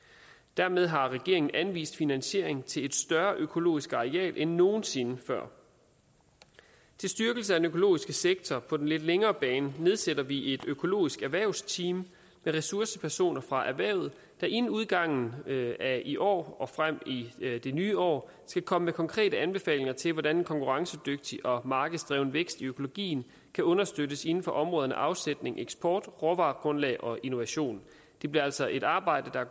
dermed har regeringen anvist finansiering til et større økologisk areal end nogen sinde før til styrkelse af den økologiske sektor på den lidt længere bane nedsætter vi et økologisk erhvervsteam med ressourcepersoner fra erhvervet der inden udgangen af i år og frem i det nye år skal komme med konkrete anbefalinger til hvordan en konkurrencedygtig og markedsdreven vækst i økologien kan understøttes inden for områderne afsætning eksport råvaregrundlag og innovation det bliver altså et arbejde der